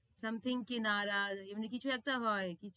Something কি নারাজ, এমনি কিছু একটা হয়।